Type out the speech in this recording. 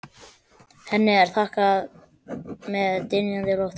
Henni er þakkað með dynjandi lófataki.